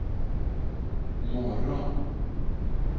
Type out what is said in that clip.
morgon